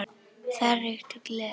Þar ríkti gleði.